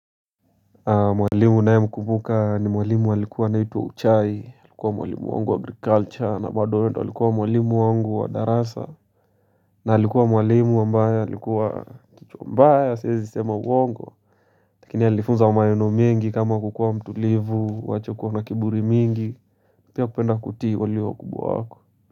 Mwalimu naye namkumbuka ni mwalimu walikuwa anaitwa wa uchai Alikuwa mwalimu wangu wa agriculture na bado yeye ndo alikuwa mwalimu wangu wa darasa na alikuwa mwalimu wa mbaya, alikuwa kichwa mbaya, siwezi sema uongo lakini alifunza maneno mingi kama kukua mtulivu, wache kuwa na kiburi mingi Pia kupenda kuti walio wakubwa wako.